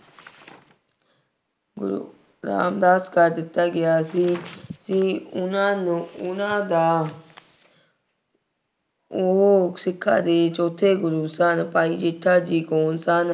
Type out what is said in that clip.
ਗੁਰੂ ਰਾਮਦਾਸ ਕਰ ਦਿੱਤਾ ਗਿਆ ਸੀ ਅਤੇ ਉਹਨਾ ਨੂੰ ਉਹਨਾ ਦਾ ਉਹ ਸਿੱਖਾਂ ਦੇ ਚੌਥੇ ਗੁਰੂ ਸਨ। ਭਾਈ ਜੇਠਾ ਜੀ ਕੌਣ ਸਨ?